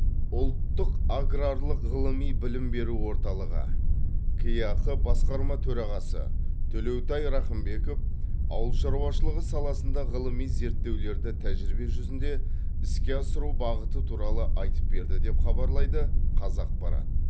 ұлттық аграрлық ғылыми білім беру орталығы кеақ басқарма төрағасы төлеутай рақымбеков ауыл шаруашылығы саласында ғылыми зерттеулерді тәжірибе жүзінде іске асыру бағыты туралы айтып берді деп хабарлайды қазақпарат